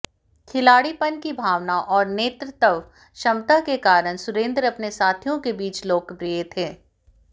खिलाड़ीपन की भावना और नेतृत्व क्षमता के कारण सुरेन्द्र अपने साथियों के बीच लोकप्रिय थे